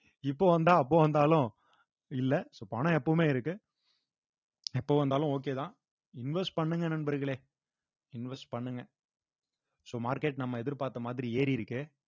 இப்ப வந்தா அப்ப வந்தாலும் இல்ல so பணம் எப்பவுமே இருக்கு எப்ப வந்தாலும் okay தான் invest பண்ணுங்க நண்பர்களே invest பண்ணுங்க so market நம்ம எதிர்பார்த்த மாதிரி ஏறி இருக்கு